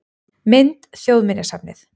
Mynd: Þjóðminjasafnið